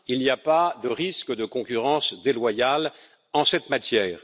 Il n'y a pas de risque de concurrence déloyale en cette matière.